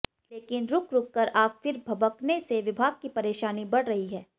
लेकिन रुक रुककर आग फिर भभकने से विभाग की परेशानी बढ रही हैं